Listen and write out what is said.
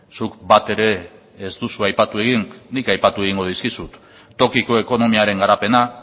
zuk bat ere ez duzu aipatu egin nik aipatu egingo dizkizut tokiko ekonomiaren garapena